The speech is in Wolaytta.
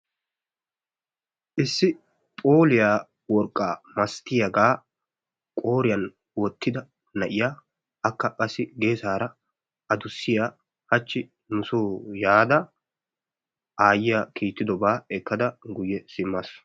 Issi phooliyaa worqqaa masatiyaagaa qooriyaan woottida na'iyaa akka qassi geessaara adussiyaa haachchi nusoo yaada ayiyaa kiittidobaa ekkada guyye simmaasu.